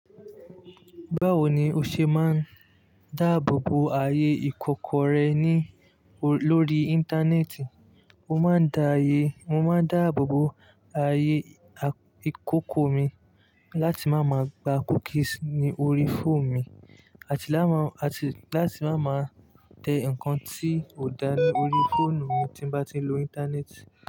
Báwo ni o ṣe máa ń dáàbò bo ayé ìkòkò rẹ lórí Íńtánẹ́ẹ̀tì? Mo máa ń dáàbò bo ayé ìkòkò mi láti má máa gba cookies ní orí fóònù mi, àti láti má máa tẹ ǹkan tí ò dáa ní orí fóònù mi tí bá ti ń lo Íńtánẹ́ẹ̀tì.